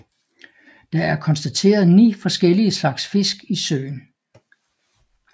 Der er konstateret ni forskellige slags fisk i søen